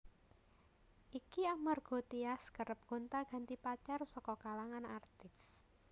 Iki amarga Tyas kerep gonta ganti pacar saka kalangan artis